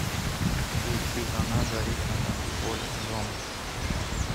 включи она горит на танцполе зомб